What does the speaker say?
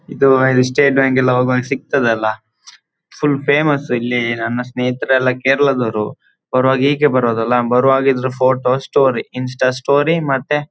ಇದು ಸ್ಟೇಟ್ ಬ್ಯಾಂಕೆಲ್ಲ ಹೋಗುವಾಗ ಸಿಗ್ತದಲ್ಲ ಫುಲ್ ಫೇಮಸ್ ಇಲ್ಲಿ ನನ್ನ ಸ್ನೇಹಿತರೆಲ್ಲ ಕೇರಳದವರು ಬರುವಾಗ ಹೀಗೇ ಬರೋದಲ್ಲ ಬರುವಾಗ ಇದರ ಫೋಟೋ ಸ್ಟೋರಿ ಇನ್ಸ್ಟಾ ಸ್ಟೋರಿ . ಮತ್ತೆ--